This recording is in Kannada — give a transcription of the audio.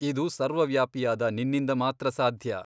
ಇದು ಸರ್ವವ್ಯಾಪಿಯಾದ ನಿನ್ನಿಂದ ಮಾತ್ರ ಸಾಧ್ಯ.